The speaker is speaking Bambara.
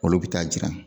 Olu bɛ taa jira